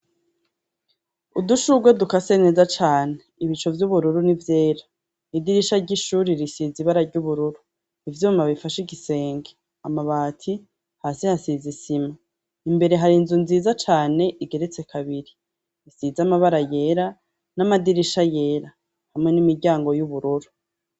Udushurwe dukase neza cane ibicu vy'ubururu ni vyera idirisha ry'ishuri risize ibara ry'ubururu ivyuma bifasha igisenge amabati hasi hasize isima imbere hari inzu nziza cane igeretse kabiri isize amabara yera n'amadirisha yera hamwe n'imiryango y'ubururu.